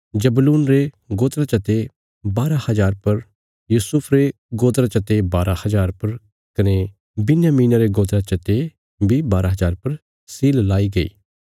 जबूलून रे गोत्रा चते बारा हज़ार पर यूसुफ रे गोत्रा चते बारा हज़ार पर कने बिन्यामीना रे गोत्रा चते बारा हज़ार पर सील लाई गई